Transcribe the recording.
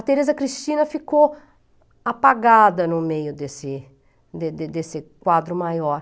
A Tereza Cristina ficou apagada no meio desse de de desse quadro maior.